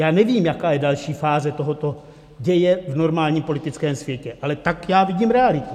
Já nevím, jaká je další fáze tohoto děje v normálním politickém světě, ale tak já vidím realitu.